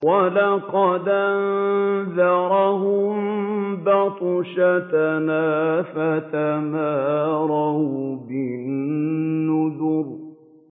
وَلَقَدْ أَنذَرَهُم بَطْشَتَنَا فَتَمَارَوْا بِالنُّذُرِ